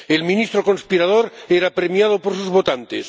El ministro conspirador era premiado por sus votantes.